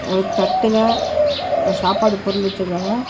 ஒரு தட்டுல சாப்பாடு பொருள் வெச்சிக்காங்க.